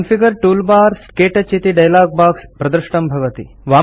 configure toolbars - क्तौच इति dialogue box प्रदृष्टं भवति